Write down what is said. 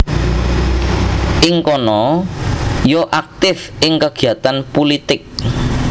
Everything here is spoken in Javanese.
Ing kana ia aktif ing kegiatan pulitik